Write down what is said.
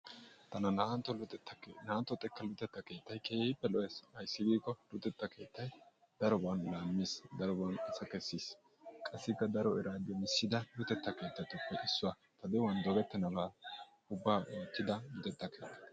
Arakka naa'antto xekka luxetta keettay keehippe lo'ees. ayssi giikko luxxetta keettay daroban laamiis, daroban asa kessiis qassikka daro eraa demisssida luxxetta keettatuppe issuwa. ta de'uwan dogettennabaa ubaa oottida luxxetta keetta.